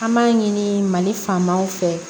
An b'a ɲini mali fanw fɛ